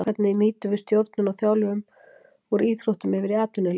Hvernig nýtum við stjórnun og þjálfun úr íþróttum yfir í atvinnulífið.